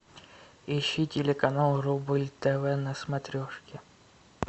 ищи телеканал рубль тв на смотрешке